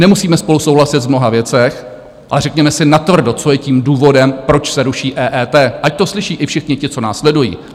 Nemusíme spolu souhlasit v mnoha věcech, ale řekněme si natvrdo, co je tím důvodem, proč se ruší EET, ať to slyší i všichni ti, co nás sledují.